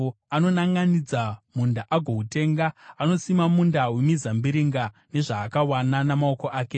Anonanʼanidza munda agoutenga; anosima munda wemizambiringa nezvaakawana namaoko ake.